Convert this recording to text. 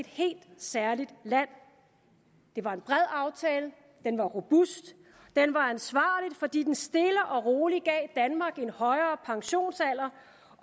helt særligt land det var en bred aftale den var robust den var ansvarlig fordi den stille og roligt gav danmark en højere pensionsalder